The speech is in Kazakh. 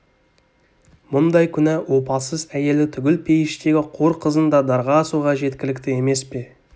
мұндай күнә опасыз әйелі түгіл пейіштегі қор қызын да дарға асуға жеткілікті емес пе